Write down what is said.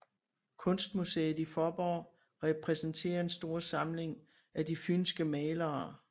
Kunstmuseet i Fåborg repræsenterer en stor samling af de fynske malere